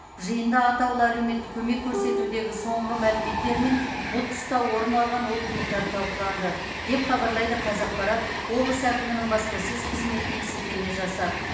жиында атаулы әлеуметтік көмек көрсетудегі соңғы мәліметтер мен бұл тұста орын алған олқылықтар талқыланды деп хабарлайды қазақпарат облыс әкімінің баспасөз қызметіне сілтеме жасап